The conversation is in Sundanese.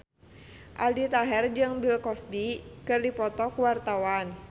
Aldi Taher jeung Bill Cosby keur dipoto ku wartawan